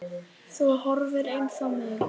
Þú horfir eins á mig.